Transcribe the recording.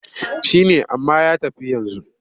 Shi ne amma ya tafi yanzu.